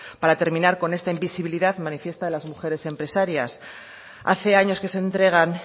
para terminar con esta invisibilidad manifiesta de las mujeres empresarias hace años que se entregan